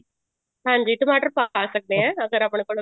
ਹਾਂਜੀ ਟਮਾਟਰ ਪਾ ਸਕਦੇ ਹਾਂ ਅਗਰ ਆਪਣੇ ਕੋਲ